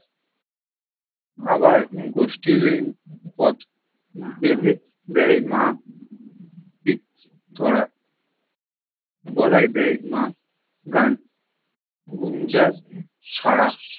আবার বেঁধে দেয় মা পিচ ধরা গলায় দেয় মা। গান গুঞ্জাস ছাড়া